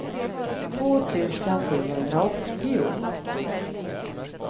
två tusen sjuhundraåttio